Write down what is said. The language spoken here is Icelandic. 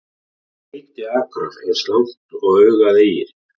Hveitiakrar eins langt og augað eygir.